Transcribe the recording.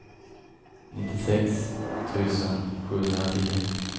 nittiosex tusen sjuhundratio